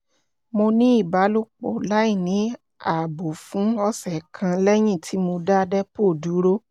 mo ní ìbálòpọ̀ láìní ààbò fún ọ̀sẹ̀ kan lẹ́yìn tí mo dá depo dúró